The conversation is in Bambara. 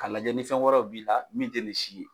Ka lajɛ ni fɛn wɛrɛw b'i la min te nin si ye.